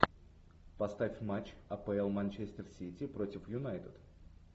поставь матч апл манчестер сити против юнайтед